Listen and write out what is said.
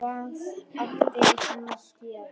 Hvað átti hann að gera?